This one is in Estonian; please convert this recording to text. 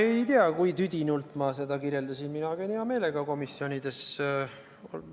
Ma ei tea, kui tüdinult ma seda kirjeldasin, mina käin hea meelega komisjonides.